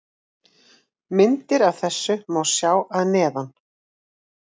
Myndir af þessu má sjá að neðan.